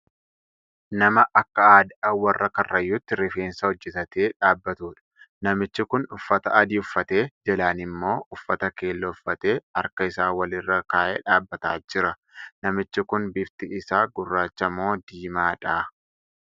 Nama akka Aadaa warra karrayyuutti rifeensa hojjetatee dhaabtaudha. Namichi kun uffata adii uffatee, jalaan immoo uffata keelloo uffatee harka isaa Wal irra kaa'ee dhaabataa jira. Namichi Kun bifti isaa gurraacha moo diimaadha?